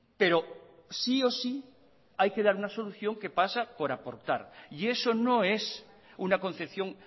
pero sí o sí hay que dar una solución que pasa por aportar y eso no es una concepción